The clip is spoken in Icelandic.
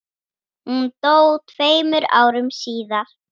Hún dó tveimur árum síðar.